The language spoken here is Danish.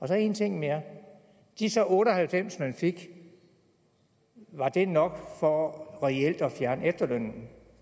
så en ting mere disse otte og halvfems man fik var det nok for reelt at fjerne efterlønnen